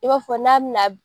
I b'a fɔ n'a bi na